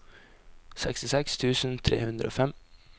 sekstiseks tusen tre hundre og fem